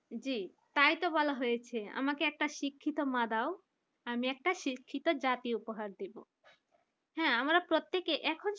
জি তাই তো বলা হয়েছে আমাকে একটা শিক্ষিত মা দাও আমি একটা শিক্ষিত জাতি উপহার দিবো । হ্যাঁ আমরা প্রত্যেকে এখন